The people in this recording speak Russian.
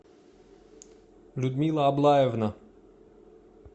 людмила аблаевна